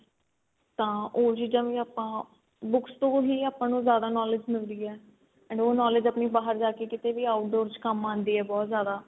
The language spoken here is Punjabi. ਤਾਂ ਉਹ ਚੀਜ਼ਾਂ ਵੀ ਆਪਾਂ books ਤੋਂ ਹੀ ਆਪਾਂ ਨੂੰ ਜਿਆਦਾ knowledge ਮਿਲਦੀ ਏ and knowledge ਆਪਣੀ ਬਾਹਰ ਜਾ ਕੇ ਕੀਤੇ ਵੀ outdoor ਚ ਕੰਮ ਆਂਦੀ ਏ ਬਹੁਤ ਜਿਆਦਾ